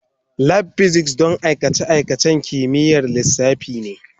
Lab Physics don aikace-aikacen kimiyyar lissafi ne.